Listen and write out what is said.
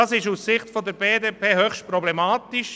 Das ist aus Sicht der BDP höchst problematisch.